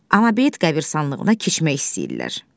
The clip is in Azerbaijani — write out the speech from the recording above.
Amma beit qəbristanlığına keçmək istəyirlər.